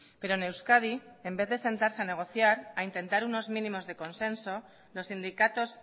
pero en euskadi en vez de sentarse a negociar a intentar unos mínimos de consenso los sindicatos